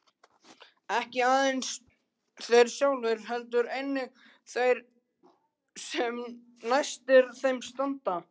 Ekki aðeins þeir sjálfir heldur einnig þeir sem næstir þeim standa.